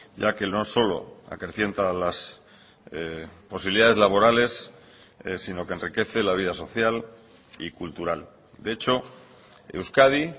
ya que no solo acrecienta las posibilidades laborales sino que enriquece la vida social y cultural de hecho euskadi